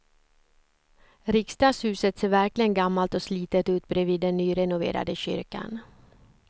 Riksdagshuset ser verkligen gammalt och slitet ut bredvid den nyrenoverade kyrkan.